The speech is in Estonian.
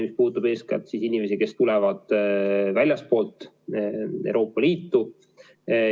See puudutab eeskätt küll inimesi, kes tulevad väljastpoolt Euroopa Liitu.